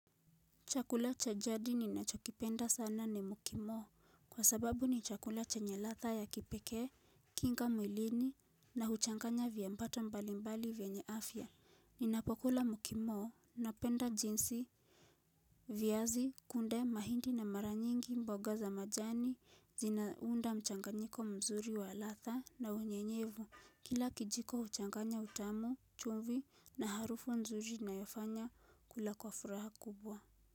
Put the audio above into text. Chakula cha jadi ninachokipenda sana ni mukimo kwa sababu ni chakula chenye latha ya kipeke, kinga mwilini na huchanganya vya mpato mbalimbali vya afya. Ninapokula mukimo na penda jinsi vyazi, kunde, mahindi na maranyingi mboga za majani zinaunda mchanganyiko mzuri wa latha na unyenyevu kila kijiko huchanganya utamu, chum I, na harufu nzuri inayofanya kula kwa furaha kubwa.